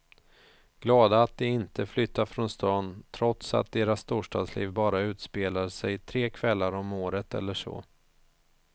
Glada att de inte flyttat från stan trots att deras storstadsliv bara utspelade sig tre kvällar om året eller så.